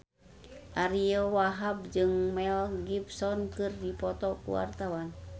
Ariyo Wahab jeung Mel Gibson keur dipoto ku wartawan